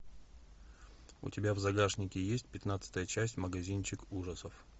у тебя в загашнике есть пятнадцатая часть магазинчик ужасов